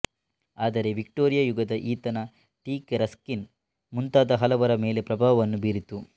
ಆದರೆ ವಿಕ್ಟೋರಿಯ ಯುಗದ ಈತನ ಟೀಕೆ ರಸ್ಕಿನ್ ಮುಂತಾದ ಹಲವರ ಮೇಲೆ ಪ್ರಭಾವವನ್ನು ಬೀರಿತು